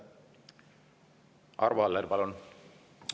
Arvo Aller, palun!